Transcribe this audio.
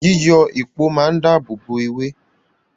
Yíyọ èpò máa ń dáàbòbò ewé